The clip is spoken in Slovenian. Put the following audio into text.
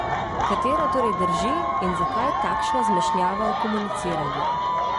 Katera torej drži in zakaj takšna zmešnjava v komuniciranju?